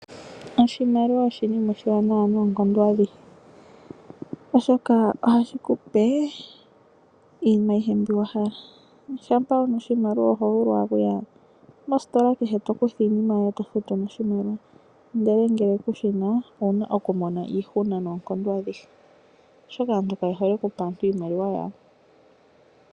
Oshimaliwa oshinima oshiwanawa noonkondo adhihe, oshoka ohashikupe iinima ayihe mbi wahala. Shampa wuna oshimaliwa ohovulu okuya mositola kehe, tokutha iinima yoye, e to futu noshimaliwa. Ngele kushina oto mono iihuna noonkondo adhihe, oshoka aantu kaye hole okupa aantu iimaliwa yawo.